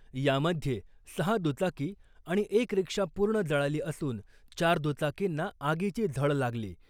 यामध्ये सहा दुचाकी आणि एक रिक्षा पूर्ण जळाली असून चार दुचाकींना आगीची झळ लागली .